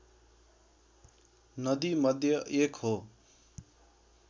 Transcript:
नदीमध्ये एक हो